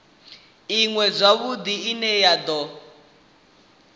iṅwe zwavhudi ine ya do